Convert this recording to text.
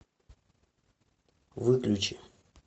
выключи